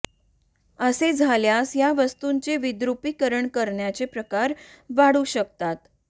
असे झाल्यास या वास्तूंचे विद्रुपीकरण करण्याचे प्रकार वाढू शकतात